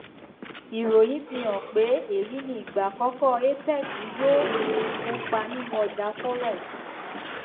ìròyìn fi hàn pé èyí ni ìgbà àkọkọ apex yóò um kópa nínú ọjà forex